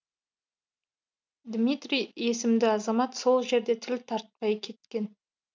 дмитрий есімді азамат сол жерде тіл тартпай кеткен